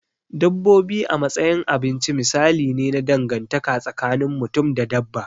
Dabbobi a matsayin abinci misali ne na dangantaka tsakin mutum da dabba.